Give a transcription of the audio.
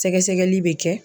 Sɛgɛsɛgɛli bɛ kɛ